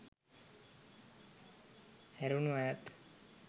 හැරුනු අයත්